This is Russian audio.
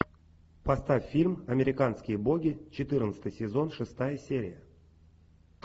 поставь фильм американские боги четырнадцатый сезон шестая серия